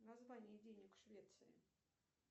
название денег в швеции